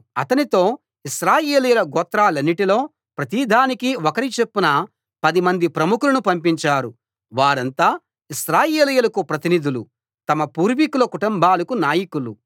అతనితో ఇశ్రాయేలీయుల గోత్రాలన్నిటిలో ప్రతిదానికీ ఒకరి చొప్పున పదిమంది ప్రముఖులను పంపించారు వారంతా ఇశ్రాయేలీయులకు ప్రతినిధులు తమ పూర్వీకుల కుటుంబాలకు నాయకులు